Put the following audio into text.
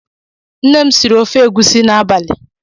Nne m siri ofe egusi n'abalị.